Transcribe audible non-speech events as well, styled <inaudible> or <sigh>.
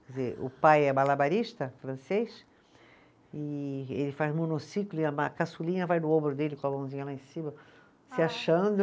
Quer dizer, o pai é malabarista francês e ele faz monociclo e a <unintelligible> caçulinha vai no ombro dele com a mãozinha lá em cima, se achando.